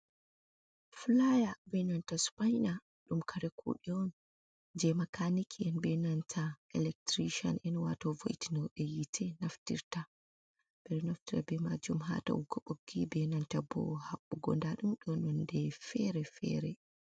Fulaya be nanta supaina, ɗum kare kuɗe on je makaniki be nanta e'lactiri ca en wato vo'itino ɓe hiite naftirta, ɓe naftira be majum hatauki ɓoggi be nanta bow haɓɓugo nda ɗum ɗoni nonde fere-fere.